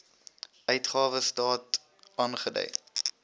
uitgawe state aangedui